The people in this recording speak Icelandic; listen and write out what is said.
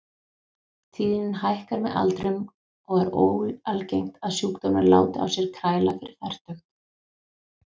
Tíðnin hækkar með aldrinum og er óalgengt að sjúkdómurinn láti á sér kræla fyrir fertugt.